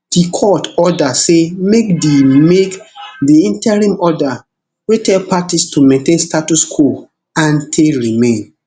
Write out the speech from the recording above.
di court order say make di make di interim order wey tell parties to maintain status quo ante remain